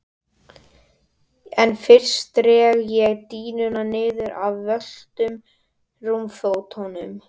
En fyrst dreg ég dýnuna niður af völtum rúmfótunum.